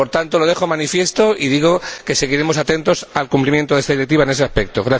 Por tanto, lo dejo manifiesto y digo que seguiremos atentos al cumplimiento de esta Directiva en ese aspecto.